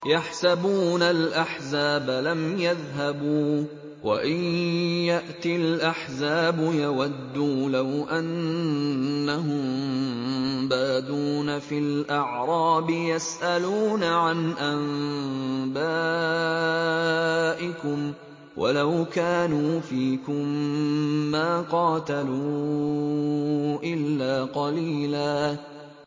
يَحْسَبُونَ الْأَحْزَابَ لَمْ يَذْهَبُوا ۖ وَإِن يَأْتِ الْأَحْزَابُ يَوَدُّوا لَوْ أَنَّهُم بَادُونَ فِي الْأَعْرَابِ يَسْأَلُونَ عَنْ أَنبَائِكُمْ ۖ وَلَوْ كَانُوا فِيكُم مَّا قَاتَلُوا إِلَّا قَلِيلًا